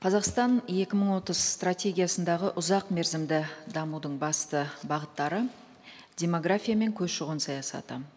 қазақстан екі мың отыз стратегиясындағы ұзақ мерзімді дамудың басты бағыттары демография мен көші қон саясаты